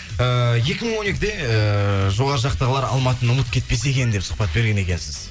ыыы екі мың он екіде ыыы жоғары жақтағылар алматыны ұмытып кетпесе екен деп сұхбат берген екенсіз